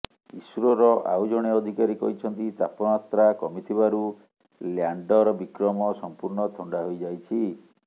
ଇସ୍ରୋର ଆଉ ଜଣେ ଅଧିକାରୀ କହିଛନ୍ତି ତାପମାତ୍ରା କମିଥିବାରୁ ଲ୍ୟାଣ୍ତର ବିକ୍ରମ ସମ୍ପୂର୍ଣ୍ଣ ଥଣ୍ଡା ହୋଇଯାଇଛି